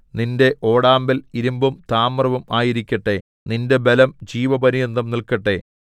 നിന്റെ ഓടാമ്പൽ ഇരിമ്പും താമ്രവും ആയിരിക്കട്ടെ നിന്റെ ബലം ജീവപര്യന്തം നില്‍ക്കട്ടെ